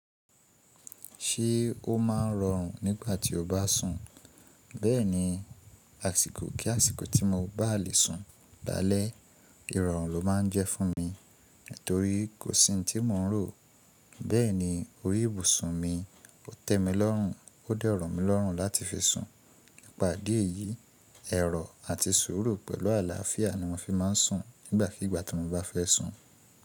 Ṣé ó máa ń rọrùn nígbà tí o bá sùn? Bẹ́ẹ̀ni, àsìkò kí àsìkò tí mo báa lè sùn lálé, ìrọ̀rùn ló máa ń jẹ́ fún mi, torí kò sí ohun tí mò ń rò. Bẹ́ẹ̀ni, orí ìbùsùn mi ò tẹ́ mi lọ́rùn, ó dẹ romí lọ́rùn láti fi sùn. Nípa idí ẹ̀yí, ẹ̀rọ àti sùúrù pẹ̀lú àlàáfíà ni mo fi máa ń sùn nígbàkígbà tí mo bá fẹ́ sùn.